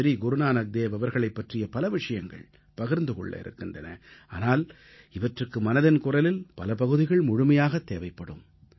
ஸ்ரீ குருநானக்தேவ் அவர்களைப் பற்றிப் பல விஷயங்கள் பகிர்ந்து கொள்ள இருக்கின்றன ஆனால் இவற்றுக்கு மனதின் குரலின் பல பகுதிகள் முழுமையாகத் தேவைப்படும்